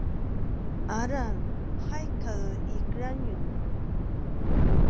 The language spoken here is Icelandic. Aran, hækkaðu í græjunum.